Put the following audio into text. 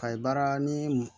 A ye baara ni